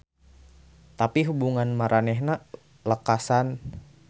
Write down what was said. Tapi hubungan maranehanana lekasan.